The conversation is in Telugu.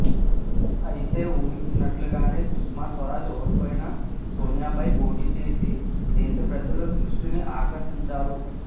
అయితే ఊహించినట్లుగానే సుష్మాస్వరాజ్ ఓడిపోయినా సోనియాపై పోటీచేసి దేశ ప్రజల దృష్టిని ఆకర్షించారు